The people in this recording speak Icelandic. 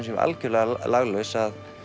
séum algjörlega laglaus